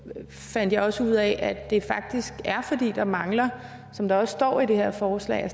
fandt jeg også ud af at det faktisk er fordi der mangler som der også står i det her forslag